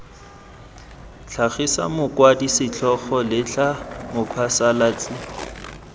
tlhagisa mokwadi setlhogo letlha mophasalatsi